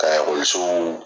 Ka ekɔlisow